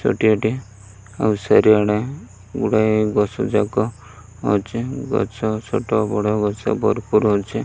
ଛୋଟିଆ ଟିଏ ଆଉ ଚାରିଆଡ଼େ ଗୁଡ଼ାଏ ଗଛଯାକ ଅଛି ଗଛ ଛୋଟ ବଡ଼ ଗଛ ଭରପୁର୍ ଅଛି।